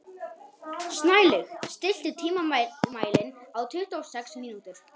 Snælaug, stilltu tímamælinn á tuttugu og sex mínútur.